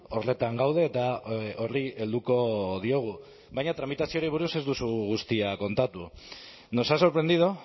horretan gaude eta horri helduko diogu baina tramitazioari buruz ez duzu guztia kontatu nos ha sorprendido